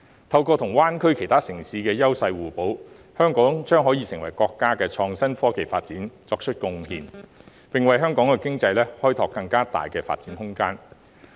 透過與灣區其他城市優勢互補，香港將可為國家的創新科技發展作出貢獻，並為香港經濟開拓更大的發展空間。